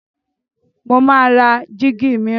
Mo máa ra jíígi mìíràn.